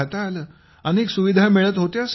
तिथे अनेक सुविधा मिळत होत्या सर